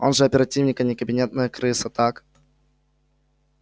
он же оперативник а не кабинетная крыса так